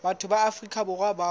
batho ba afrika borwa bao